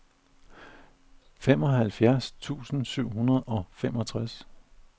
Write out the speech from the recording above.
fireoghalvfjerds tusind syv hundrede og femogtres